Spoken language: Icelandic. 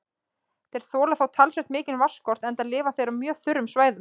Þeir þola þó talsvert mikinn vatnsskort enda lifa þeir á mjög þurrum svæðum.